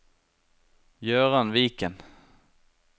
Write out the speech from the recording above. Gøran Viken